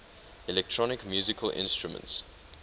electronic musical instruments